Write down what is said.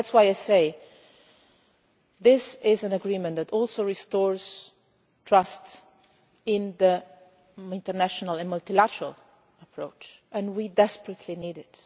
That is why I say that this is an agreement that also restores trust in the international and multilateral approach and we desperately need